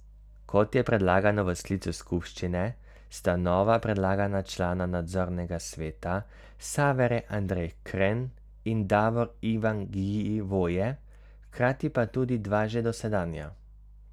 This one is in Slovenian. Kot je predlagano v sklicu skupščine, sta nova predlagana člana nadzornega sveta Save Re Andrej Kren in Davor Ivan Gjivoje, hkrati pa tudi dva že dosedanja.